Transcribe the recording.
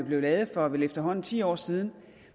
blev lavet for vel efterhånden ti år siden